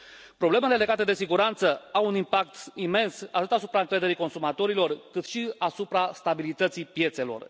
Problemele legate de siguranță au un impact imens atât asupra încrederii consumatorilor, cât și asupra stabilității piețelor.